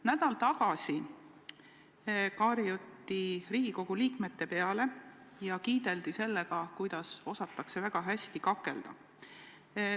Nädal tagasi karjuti Riigikogu liikmete peale ja kiideldi sellega, kuidas osatakse väga hästi kakelda.